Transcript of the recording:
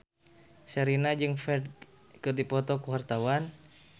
Sherina jeung Ferdge keur dipoto ku wartawan